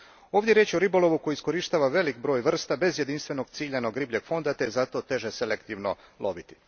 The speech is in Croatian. Ovdje je riječ o ribolovu koji iskorištava velik broj vrsta bez jedinstvenog ciljanog ribljeg fonda te je zato teže selektivno loviti.